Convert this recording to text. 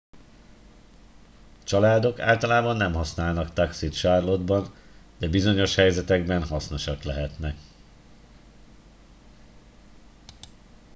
családok általában nem használnak taxit charlotte ban de bizonyos helyzetekben hasznosak lehetnek